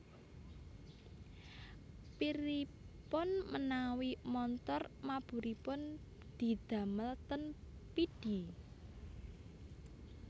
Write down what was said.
Piripun menawi montor maburipun didamel ten Pidie?